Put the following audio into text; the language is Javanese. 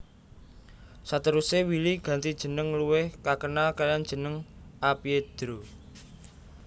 Sateruse Willy ganti jeneng luwih kakenal kalian jeneng A Piedro